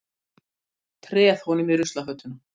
Treð honum í ruslafötuna.